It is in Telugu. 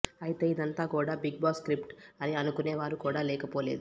అయితే ఇదంతా కూడా బిగ్బాస్ స్క్రిప్ట్ అని అనుకునే వారు కూడా లేకపోలేదు